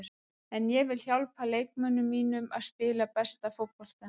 En ég vil hjálpa leikmönnunum mínum að spila besta fótboltann.